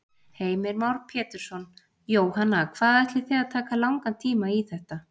Heimir Már Pétursson: Jóhanna, hvað ætlið þið að taka langan tíma í þetta?